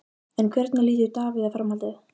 En hvernig lítur Davíð á framhaldið?